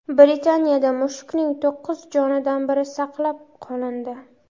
Britaniyada mushukning to‘qqiz jonidan biri saqlab qolindi.